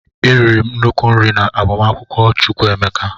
E riri m nnukwu nri na agbamakwụkwọ Chukwu emeka.